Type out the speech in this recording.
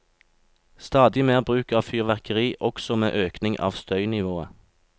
Stadig mer bruk av fyrverkeri også med økning av støynivået.